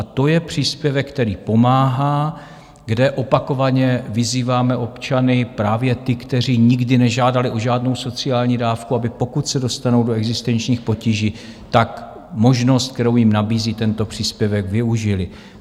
A to je příspěvek, který pomáhá, kde opakovaně vyzýváme občany, právě ty, kteří nikdy nežádali o žádnou sociální dávku, aby pokud se dostanou do existenčních potíží, tak možnost, kterou jim nabízí tento příspěvek, využili.